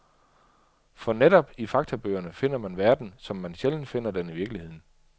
For netop i faktabøgerne finder man verden, som man sjældent finder den i virkeligheden.